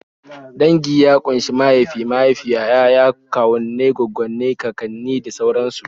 Dangi ya ƙunshi mahaifi, mahaifiya, 'ya'ya, kawunnai, gwagware, kakanni, da sauransu